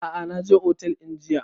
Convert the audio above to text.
A'a na je otel ɗin jiya